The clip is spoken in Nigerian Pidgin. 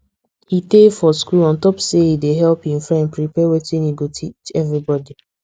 he tey for school on top say e dey help hin friend prepare wetin e go teach everybody